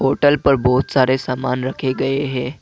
Hotel पर बहुत सारे सामान रखे गए हैं।